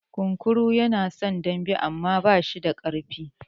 Kunkuru yana son dambe amma ba shi da ƙasa.